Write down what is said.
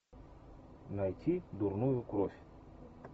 найти дурную кровь